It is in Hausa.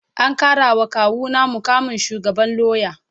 An karawa kawuna mukamin shugaban lauya